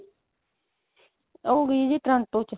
ਉਹ ਗਈ ਆ ਜੀ toronto ਚ